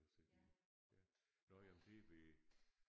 I byen ja nåh ja men det ved